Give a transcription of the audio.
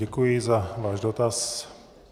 Děkuji za váš dotaz.